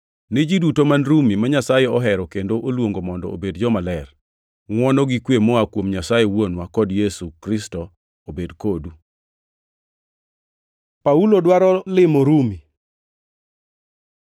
Ni ji duto man Rumi, ma Nyasaye ohero kendo oluongo mondo obed jomaler: Ngʼwono gi kwe moa kuom Nyasaye Wuonwa kod Ruoth Yesu Kristo obed kodu. Paulo dwaro limo Rumi